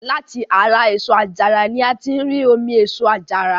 Láti ara èso àjàrà ni a tí ń rí omi èso àjàrà.